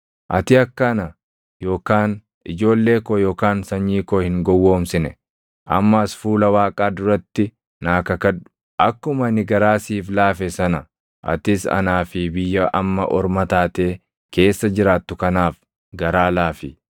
Ati akka ana yookaan ijoollee koo yookaan sanyii koo hin gowwoomsine amma as fuula Waaqaa duratti naa kakadhu. Akkuma ani garaa siif laafe sana atis anaa fi biyya amma orma taatee keessa jiraattu kanaaf garaa laafi.”